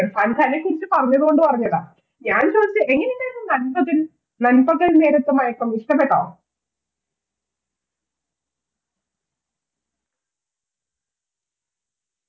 പണിശാലയൊക്കെ ഇച്ചിരി കുറഞ്ഞതുകൊണ്ട് പറഞ്ഞതാ, ഞാൻ ചോദിച്ചത് എങ്ങനെ ഉണ്ടായിരുന്നു നൻപകൽ, നൻപകൽ നേരത്ത് മയക്കം ഇഷ്ടപ്പെട്ടോ